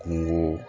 Kungo